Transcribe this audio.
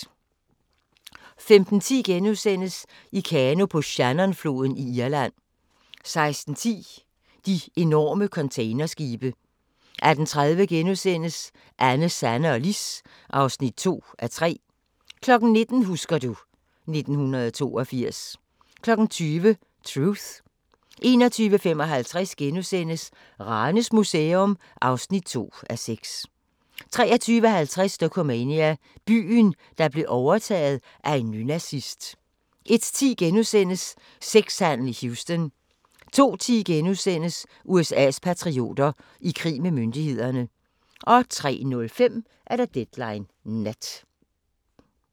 15:10: I kano på Shannonfloden i Irland * 16:10: De enorme containerskibe 18:30: Anne, Sanne og Lis (2:3)* 19:00: Husker du... 1982 20:00: Truth 21:55: Ranes Museum (2:6)* 23:50: Dokumania: Byen, der blev overtaget af en nynazist 01:10: Sexhandel i Houston * 02:10: USA's patrioter – i krig med myndighederne * 03:05: Deadline Nat